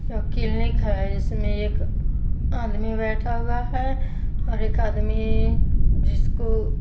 यह किलनिक है इसमें एक आदमी बैठा हुआ है और एक आदमीीी जिसको --